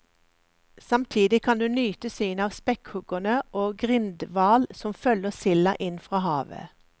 Samtidig kan du nyte synet av spekkhuggere og grindhval som følger silda inn fra havet.